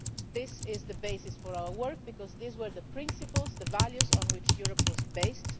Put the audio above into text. UNHCR. This is the basis for our work, because these were the principles and the values on which Europe was